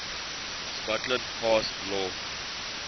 scotland passed law